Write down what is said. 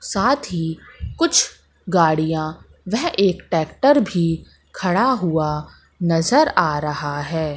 साथ ही कुछ गाड़ियां वह एक ट्रैक्टर भी खड़ा हुआ नजर आ रहा है।